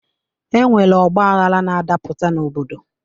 E nwere ọgbaghara na-adapụta n'obodo.